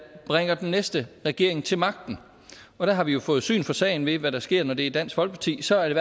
bringer den næste regering til magten og der har vi jo fået syn for sagen ved hvad der sker når det er dansk folkeparti så er det